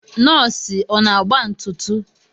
Nọsi ọ na-agba ntụtụ?